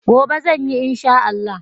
Gobe zan yi in Sha Allah.